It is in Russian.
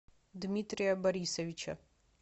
дмитрия борисовича